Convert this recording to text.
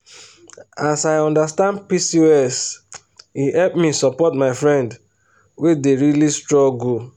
as i understand pcos e help me support my friend wey dey really struggle.